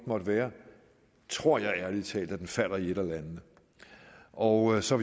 måtte være tror jeg ærlig talt at den falder i et af landene og så